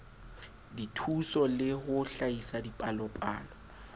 dithuso le ho hlahisa dipalopalo